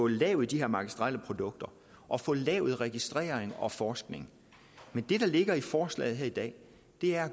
lavet de her magistrelle produkter og få lavet registrering og forskning men det der ligger i forslaget her i dag er